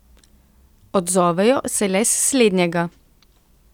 Odzovejo se le s slednjega.